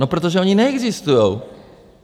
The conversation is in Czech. No, protože ony neexistují.